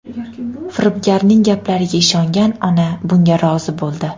Firibgarning gaplariga ishongan ona bunga rozi bo‘ldi.